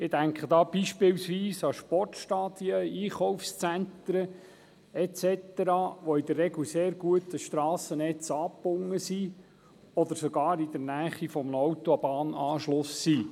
Ich denke da beispielsweise an Sportstadien, Einkaufszentren et cetera, die in der Regel sehr gut an das Strassennetz angebunden sind oder sogar in der Nähe eines Autobahnanschlusses liegen.